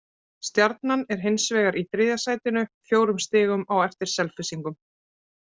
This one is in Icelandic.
Stjarnan er hins vegar í þriðja sætinu, fjórum stigum á eftir Selfyssingum.